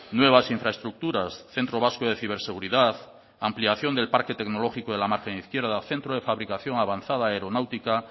nuevas infraestructuras centro vasco de ciberseguridad ampliación del parque tecnológico de la margen izquierda centro de fabricación avanzada aeronáutica